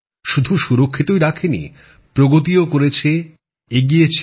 শুধু সুরক্ষিতই রাখেনি প্রগতিও করেছে এগিয়েছেও